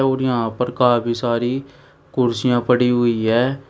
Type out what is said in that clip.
और यहां पर का काफी सारी कुर्सियां पड़ी हुई है।